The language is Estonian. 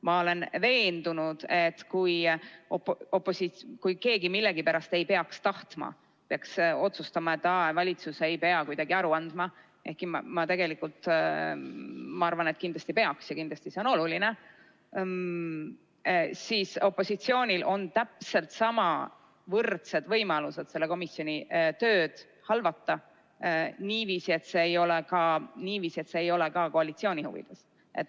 Ma olen veendunud, et kui keegi millegipärast peaks otsustama, et valitsus ei peagi aru andma – ehkki tegelikult ma arvan, et kindlasti peaks ja kindlasti see on oluline –, siis opositsioonil on täpselt samasugused, võrdsed võimalused komisjoni töö halvamiseks, niiviisi, et see ei ole ka koalitsiooni huvides.